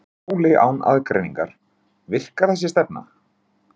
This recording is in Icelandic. Erla Hlynsdóttir: Skóli án aðgreiningar, virkar þessi stefna?